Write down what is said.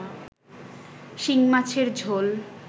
শিংমাছের ঝোল